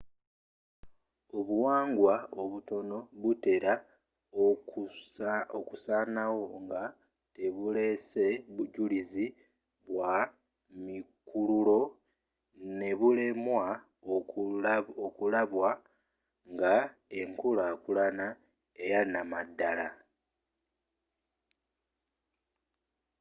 obuwangwa obutono butera okusanawo nga tebulese bujulizi bwa mikululo ne bulemwa okulabwa nga enkulakulana eyanamaddala